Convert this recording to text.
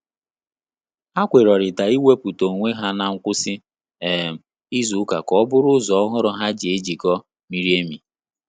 Ha kwerorita iweputa onwe ha na ngwụsị um izu ụka ka ọ bụrụ ụzọ ọhụrụ ha ji ejiko miri emi